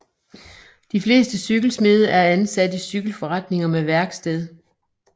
De fleste cykelsmede er ansat i cykelforretninger med værksted